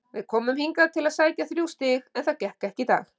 Við komum hingað til að sækja þrjú stig en það gekk ekki í dag.